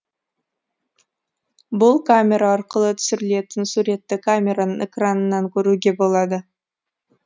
бұл камера арқылы түсірілген суретті камераның экранынан көруге болады